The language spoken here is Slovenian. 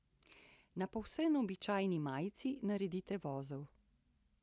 Na povsem običajni majici naredite vozel.